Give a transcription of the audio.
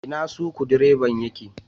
Ina Sukudireban ya ke?